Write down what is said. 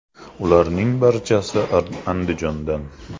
Ularning barchasi Andijondan.